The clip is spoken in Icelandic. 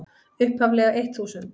upphaflega eitt þúsund.